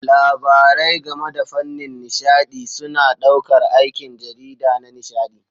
Labarai game da fannin nishaɗi suna ɗaukar aikin jarida na nishaɗi.